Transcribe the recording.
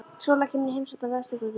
Sóla kemur í heimsókn á Vesturgötuna.